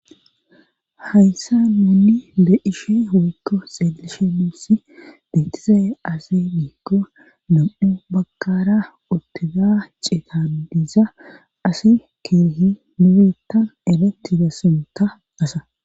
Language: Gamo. Hayssa nuunni de7ishi woykko xeelishe muussi biitize asi giikko lam7u bagkara otega ceetan diiza asi kihi nubittan eretti gassinta asa